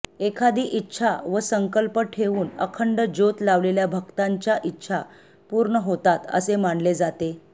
एखादी इच्छा व संकल्प ठेऊन अखंड ज्योत लावलेल्या भक्तांच्या इच्छा पूर्ण होतात असे मानले जाते